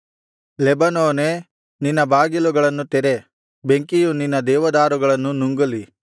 ಲೆಬನೋನೇ ನಿನ್ನ ಬಾಗಿಲುಗಳನ್ನು ತೆರೆ ಬೆಂಕಿಯು ನಿನ್ನ ದೇವದಾರುಗಳನ್ನು ನುಂಗಲಿ